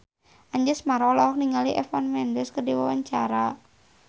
Anjasmara olohok ningali Eva Mendes keur diwawancara